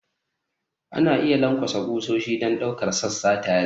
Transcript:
Ana iya lankwasa ƙusoshi don ɗaukar sassa tare.